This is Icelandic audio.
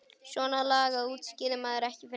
Svona lagað útskýrði maður ekki fyrir neinum.